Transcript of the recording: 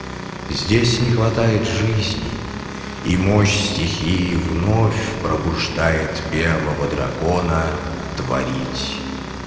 здесь не хватает жизни и мощь стихии вновь пробуждает первого дракона творить